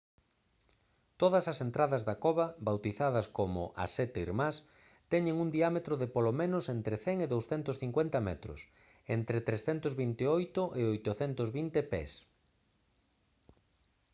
todas as entradas da cova bautizadas como «as sete irmás» teñen un diámetro de polo menos entre 100 e 250 metros entre 328 e 820 pés